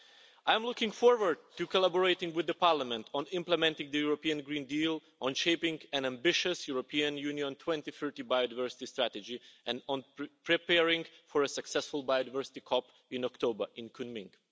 I'm looking forward to collaborating with the Parliament on implementing the European Green Deal on shaping an ambitious European Union 2030 Biodiversity Strategy and on preparing for a successful Biodiversity COP15 in October in Kunming.